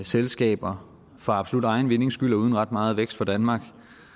selskaber for absolut egen vindings skyld og uden ret meget vækst for danmark